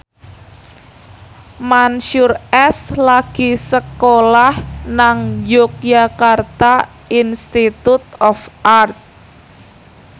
Mansyur S lagi sekolah nang Yogyakarta Institute of Art